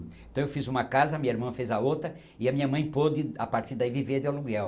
Então eu fiz uma casa, minha irmã fez a outra e a minha mãe pôde a partir daí viver de aluguel.